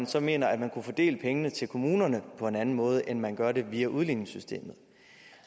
så mener at man kunne fordele pengene til kommunerne på en anden måde end man gør det via udligningssystemet